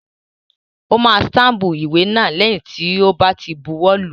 Ó máa stámpù ìwé náà lẹ́yìn tó bá ti buwọ́ lùú.